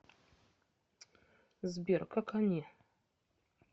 сбер как они